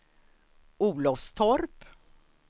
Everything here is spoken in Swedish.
Olofstorp